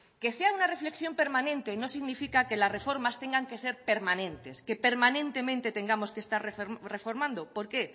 que sea una reflexión permanente no significa que las reformas tengan que ser permanentes que permanentemente tengamos que estar reformando por qué